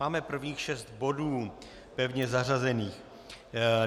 Máme prvních šest bodů pevně zařazených.